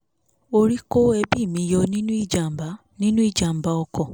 orí kó ẹbí mi yọ nínú ìjàm̀bá nínú ìjàm̀bá ọkọ̀